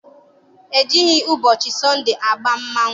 E jighị ụbọchị Sọnde aba mmanwụ.